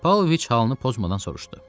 Pavloviç halını pozmadan soruştu.